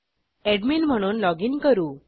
admin म्हणून login करू